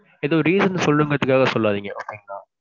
எதோ reason சொல்லணும்ங்கிறதுக்காக சொல்லாதீங்க okay ங்களா.